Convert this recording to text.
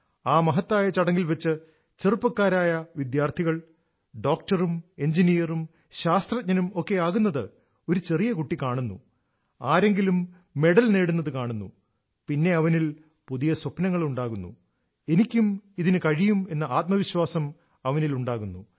ആ മഹത്തായ ചടങ്ങിൽ വച്ച് ചെറുപ്പക്കാരായ വിദ്യാർത്ഥികൾഡോക്ടറും എഞ്ചിനീയറും ശാസ്ത്രജ്ഞനും ഒക്കെ ആകുന്നത് ഒരു ചെറിയ കുട്ടി കാണുന്നു ആരെങ്കിലും മെഡൽ നേടുന്നത് കാണുന്നു പിന്നെ അവനിൽ പുതിയ സ്വപ്നങ്ങൾ ഉണ്ടാകുന്നു എനിക്കും ഇതിന് കഴിയും എന്ന ആത്മവിശ്വാസം അവനിൽ ഉണ്ടാകുന്നു